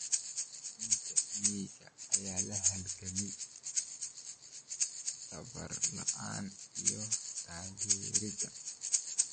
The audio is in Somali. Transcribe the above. Macallimiinta miyiga ayaa la halgamaya tababar la'aanta iyo taageerada.